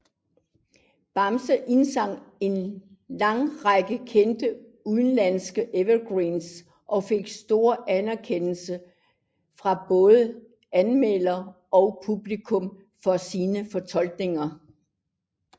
Bamse indsang en lang række kendte udenlandske evergreens og fik stor anerkendelse fra både anmeldere og publikum for sine fortolkninger